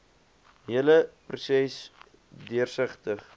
hele proses deursigtig